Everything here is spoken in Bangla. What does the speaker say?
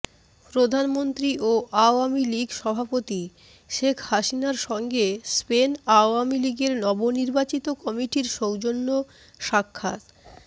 প্রধানমন্ত্রী ও আওয়ামীলীগ সভাপতি শেখ হাসিনার সংঙ্গে স্পেন আওয়ামীলীগের নব নির্বাচিত কমিটির সৌজন্য সাক্ষাৎঃ